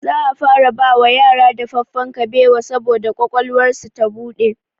Za a fara bawa yara dafaffen kabewa saboda ƙwaƙwalwarsu ta buɗe